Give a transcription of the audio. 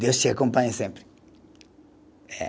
Deus te acompanhe sempre. Eh